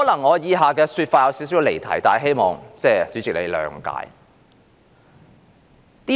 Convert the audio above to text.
我以下的說法可能會稍微離題，但希望主席諒解。